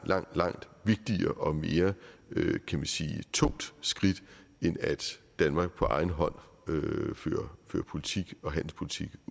langt langt vigtigere og mere tungt skridt end at danmark på egen hånd fører politik og handelspolitik